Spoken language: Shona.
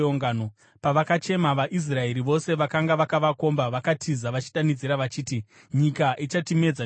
Pavakachema, vaIsraeri vose vakanga vakavakomba vakatiza, vachidanidzira vachiti, “Nyika ichatimedza nesuwo!”